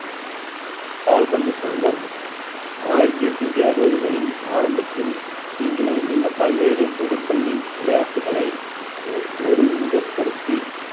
கால்பந்து சங்கம் ஆயிரத்தி எட்நூத்தி அறுபதுகளின் ஆரம்பத்தில் இங்கிலாந்தில் பல்வேறு பொதுப்பள்ளி விளையாட்டுகளை ஓ~ ஒரு முகப்படுத்தி